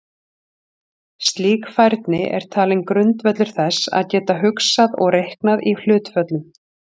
Slík færni er talin grundvöllur þess að geta hugsað og reiknað í hlutföllum.